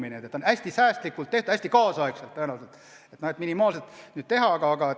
Nii et see maja on hästi säästlikult tehtud, hästi kaasaegselt tõenäoliselt, kõiges on püütud minimaalsust silmas pidada.